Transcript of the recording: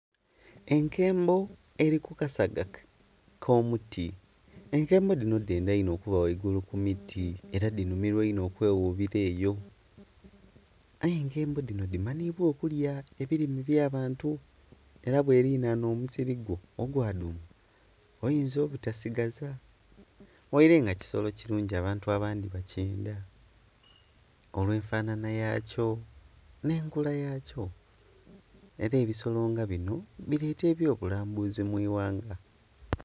Enkembo eri ku kasaga ko muti, enkembo dhino dhenda inho okuba ghaigulu ku miti era dhinhumirwa inho okwe ghugira eyo, aye enkembo dhino dhimanhibwa okulya ebirime bya abantu era bwe linanha omusiri gwo ogwa duuma oyinza obutasigaza ghaire nga kisolo kirungi abantu abandhi bakyenda olwe enfanana yakyo nhe enkula yakyo era ebisolo nga binho bireta ebyo bulambuzi mu ighanga.